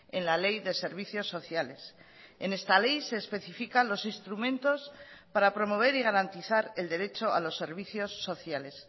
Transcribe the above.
en la ley de servicios sociales en esta ley se especifica los instrumentos para promover y garantizar el derecho a los servicios sociales